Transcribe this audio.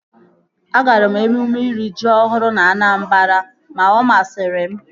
Agara m emume iri ji ọhụrụ na Anambra ma ọ masịrị m